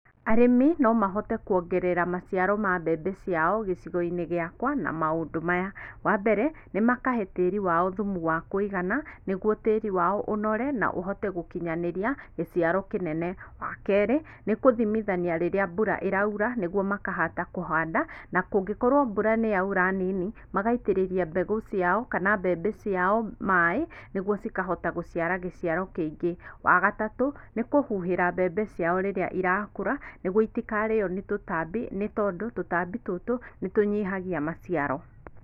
Arĩmi no mahote kuongerera maciaro ma mbembe ciao gĩcigo-inĩ gĩakwa na maũndũ maya, wa mbere, nĩ makahe tĩĩri wao thumu wa kũigana nĩguo tĩĩri wao ũnore na ũhote gũkinyanĩria gĩciaro kĩnene. Wa kerĩ, nĩ kũthimithania rĩrĩa mbura ĩraura nĩguo makahata kũhanda na kũngĩkorwo mbura nĩ yaura nini, magaitĩrĩria mbegũ ciao kana mbembe ciao maĩ nĩguo cikahota gũciara gĩciaro kĩingĩ. Wa gatatũ, nĩ kũhuhĩra mbembe ciao rĩrĩa irakũra nĩguo itikarĩo nĩ tũtambĩ nĩtondũ tũtambi tũtũ nĩtũnyihagia maciaro.